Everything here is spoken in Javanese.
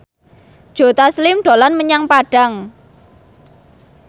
Joe Taslim dolan menyang Padang